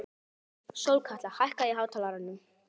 Sólkatla, hækkaðu í hátalaranum.